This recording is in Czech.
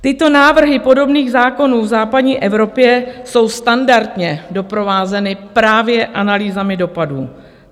Tyto návrhy podobných zákonů v západní Evropě jsou standardně doprovázeny právě analýzami dopadů.